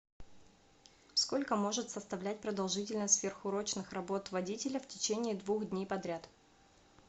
сколько может составлять продолжительность сверхурочных работ водителя в течение двух дней подряд